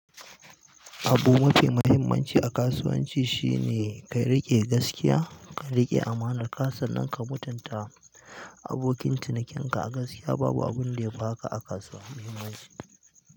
Abu mafi muhimmanci a kasuwanci shine ka riƙe gaskiya, ka riƙe amana. Kuma sannan ka mutunta abokin cinikinka a gaskiya. Babu abun da yafi haka a kasuwa.